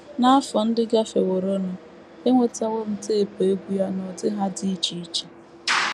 N’afọ ndị gafeworonụ, enwetawo m tepụ egwú ya n’ụdị ha dị iche iche